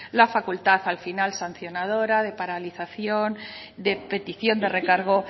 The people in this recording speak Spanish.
la facultad al final sancionadora de paralización de petición de recargo